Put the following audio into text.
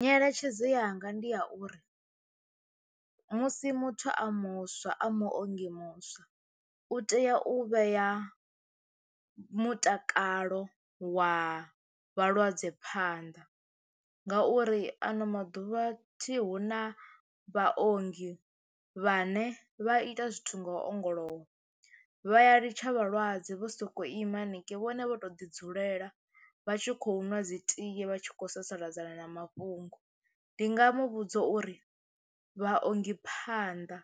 Nyeletshedzo yanga ndi ya uri musi muthu a muswa a muongi muswa u tea u vhea mutakalo wa vhalwadze phanḓa ngauri ano maḓuvha thi hu na vhaongi vhane vha ita zwithu ngo ongolowa. vha ya litsha vhalwadze vho sokou ima hanengei vhone vho to ḓi dzulela vha tshi khou nwa dzi tie vha tshi khou sasaladza na na mafhungo ndi nga mu vhudza uri vhaongi phanḓa